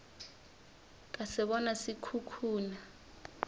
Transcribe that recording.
ka se bona se khukhuna